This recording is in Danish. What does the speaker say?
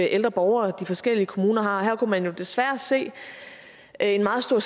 ældre borgere de forskellige kommuner har og her kunne man desværre se en meget stor